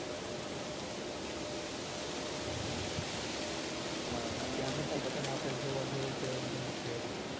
આપણે જોવા જઈએ તો એકદમ શ્રેષ્ઠ છે.